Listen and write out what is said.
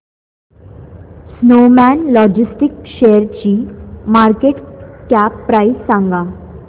Snowman logistics शेअरची market cap price सांगा